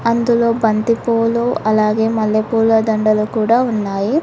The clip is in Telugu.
అందులో బంతిపూలు అలాగే మల్లెపూల దండలు కూడా ఉన్నాయి.